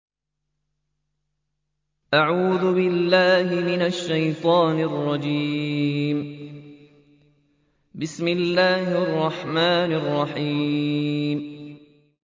بِسْمِ اللَّهِ الرَّحْمَٰنِ الرَّحِيمِ